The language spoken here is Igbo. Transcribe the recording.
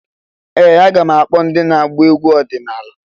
Ee! Aga m akpọ ndị na-agba egwu ọdịnala.